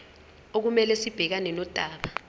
okumele sibhekane nodaba